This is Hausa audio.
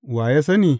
Wa ya sani?